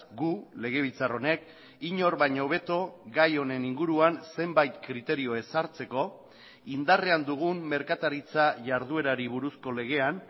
gu legebiltzar honek inor baino hobeto gai honen inguruan zenbait kriterio ezartzeko indarrean dugun merkataritza jarduerari buruzko legean